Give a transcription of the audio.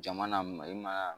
Jama na mali ma